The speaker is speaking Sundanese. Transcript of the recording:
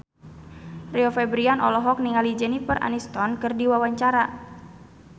Rio Febrian olohok ningali Jennifer Aniston keur diwawancara